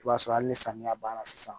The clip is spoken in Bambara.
I b'a sɔrɔ hali ni samiya banna sisan